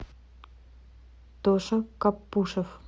тоша каппушев